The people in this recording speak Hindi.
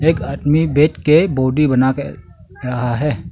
एक आदमी बैठ के बॉडी बनाके रहा है।